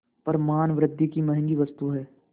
पर मानवृद्वि की महँगी वस्तु है